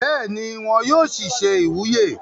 bẹ́ẹ̀ni, wọn yóò sì se ìwúyè